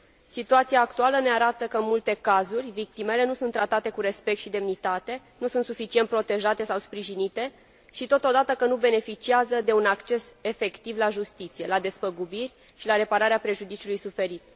Situația actuală ne arată că, în multe cazuri, victimele nu sunt tratate cu respect și demnitate, nu sunt suficient protejate sau sprijinite și, totodată, că nu beneficiază de un acces efectiv la justiție, la despăgubiri și la repararea prejudiciului suferit.